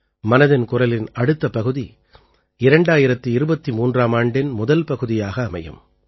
மனதின் குரலின் அடுத்த பகுதி 2023ஆம் ஆண்டின் முதல் பகுதியாக அமையும்